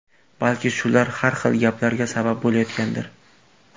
Balki shular har xil gaplarga sabab bo‘layotgandir.